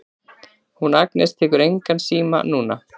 Hún Agnes tekur engan síma núna.